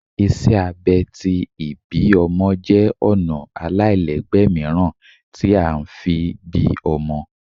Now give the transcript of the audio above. Iṣẹ abẹ̀ tí ibí ọmọ jẹ ọna alailẹgbẹ miiran ti a ń fí bí ómọ